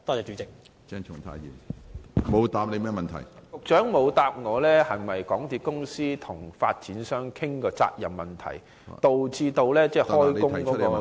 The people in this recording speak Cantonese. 局長沒有回答我，港鐵公司是否曾與發展商商討責任問題，導致開工延誤。